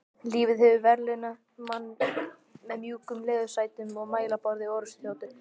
Lífið hefur verðlaunað mann með mjúkum leðursætum og mælaborði orrustuþotu.